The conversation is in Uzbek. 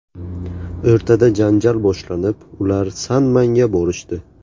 O‘rtada janjal boshlanib, ular san-manga borishdi.